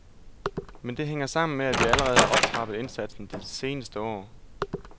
Men det hænger sammen med, at vi allerede har optrappet indsatsen de seneste år.